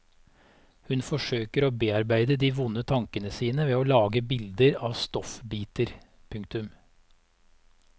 Hun forsøker å bearbeide de vonde tankene sine ved å lage bilder av stoffbiter. punktum